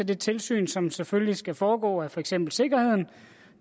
det tilsyn som selvfølgelig skal foregå med for eksempel sikkerheden